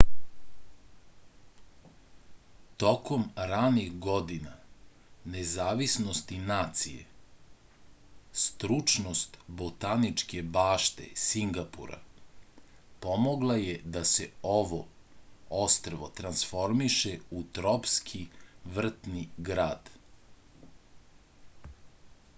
tokom ranih godina nezavisnosti nacije stručnost botaničke bašte singapura pomogla je da se ovo ostrvo transformiše u tropski vrtni grad